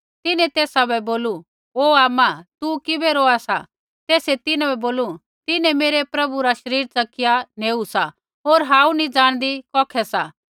तिन्हैं तेसा बै बोलू ओ आमा तू किबै रोआ सा तेसै तिन्हां बै बोलू तिन्हैं मेरै प्रभु रा शरीर च़किया नेऊ सा होर हांऊँ नैंई जाणदी कौखै सा